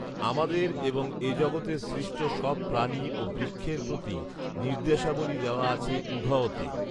আমাদের এবং এ জগতের সৃষ্ট সব প্রাণী ও বৃক্ষের প্রতি নির্দেশাবলি দেওয়া আছে উঘঅ তে